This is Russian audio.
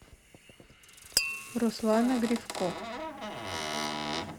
руслана гривко